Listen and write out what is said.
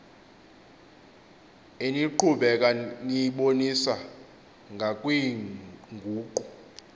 eniqhubeka niyibonisa ngakwiinguqu